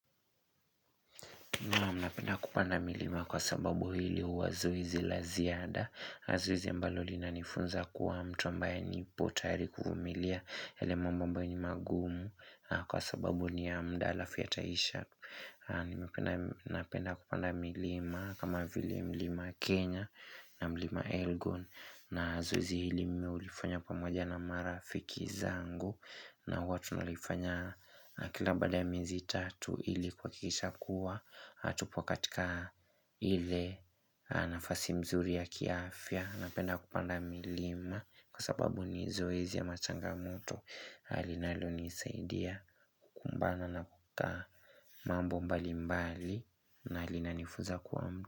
Napenda kupanda milima kwa sababu hili huwa wezi la ziada. Na zoezi ambalo lina nifunza kuwa mtu ambaye nipo tayari kuvumilia yale mambo ambaye ni magumu na kwa sababu ni ya muda halafu yataisha nimependa Napenda kupanda milima kama vili mlima Kenya na mlima Elgon na zoezi hili mimi hulifanya pamoja na marafiki zangu. Na huwa tunalifanya kila baada ya miezi tatu ili kwa kuhakikisha kuwa hatupo katika ile nafasi mzuri ya kiafya Napenda kupanda milima kwa sababu ni zoezi ya machangamoto linalo nisaidia kumbana na kukaa mambo mbali mbali na linanifuza kuwa mtu.